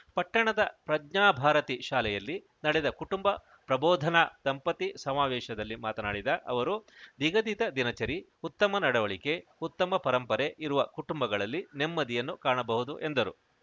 ಪಟ್ಟಣದ ಪ್ರಜ್ಞಾಭಾರತಿ ಶಾಲೆಯಲ್ಲಿ ನಡೆದ ಕುಟುಂಬ ಪ್ರಬೋಧನ ದಂಪತಿ ಸಮಾವೇಶದಲ್ಲಿ ಮಾತನಾಡಿದ ಅವರು ನಿಗದಿತ ದಿನಚರಿ ಉತ್ತಮ ನಡವಳಿಕೆ ಉತ್ತಮ ಪರಂಪರೆ ಇರುವ ಕುಟುಂಬಗಳಲ್ಲಿ ನೆಮ್ಮದಿಯನ್ನು ಕಾಣಬಹುದು ಎಂದರು